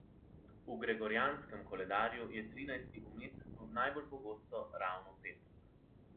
V gregorjanskem koledarju je trinajsti v mesecu najbolj pogosto ravno petek.